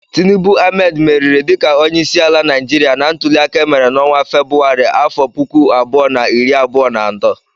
Tinubu Ahmed meriri dịka onyeisiala Naijiria na ntụliaka emere n'ọnwa Febrụwarị afo puku abụọ na iri abụọ na atọ.